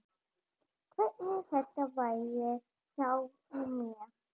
Hvernig þetta verði hjá mér.